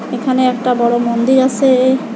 এখানে একটা বড় মন্দির আসে।